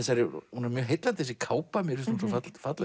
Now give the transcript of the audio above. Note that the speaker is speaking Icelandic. hún er mjög heillandi þessi kápa mér finnst hún svo falleg